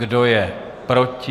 Kdo je proti?